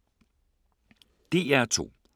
DR2